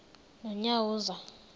nonyawoza